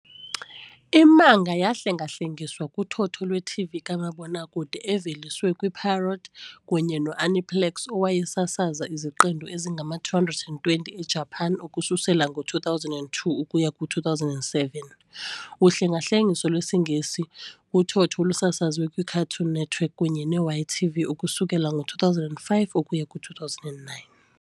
I-manga yahlengahlengiswa kuthotho lwe-TV kamabonwakude eveliswe nguPierrot kunye no-Aniplex, owayesasaza iziqendu ezingama-220 eJapan ukususela ngo-2002 ukuya ku-2007, uhlengahlengiso lwesiNgesi kuthotho olusasazwe kwiCartoon Network kunye neYTV ukusukela ngo2005 ukuya ku2009.